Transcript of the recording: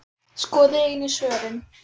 Skoðið einnig svörin